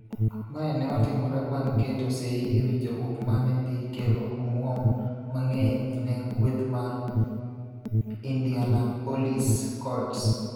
Mae ne otimore bang' keto sei e winjruok mane dhi kelo omwom mang'eny ne kweth mar Indianapolis Colts.